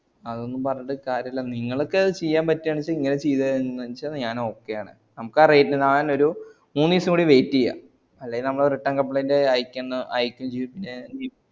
അതൊന്നും പറഞ്ഞിട്ട് കാര്യല്ല നിങ്ങൾക്കത് ചെയ്യാൻപറ്റച്ചാ നിങ്ങൾ ചെയ്ത് ഞാൻ okay ആണ് നമ്മക്ക് ആ rate ഒരു മുന്നീസം കൂടി wait എയാം അല്ലകി ഞമ്മള് return complaint അയക്കുന്ന അയക്കു ഉം പിന്നെ